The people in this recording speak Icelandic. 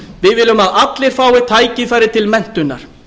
við viljum að allir fái tækifæri til menntunar